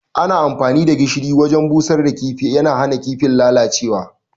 Amfani da gishiri wurin busar da kifi yana hana kifin lalacewa